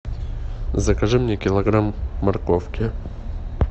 закажи мне килограмм морковки